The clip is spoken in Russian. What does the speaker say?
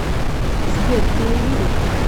сбер ты не видишь